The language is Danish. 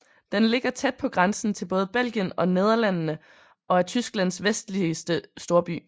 Den ligger tæt på grænsen til både Belgien og Nederlandene og er Tysklands vestligste storby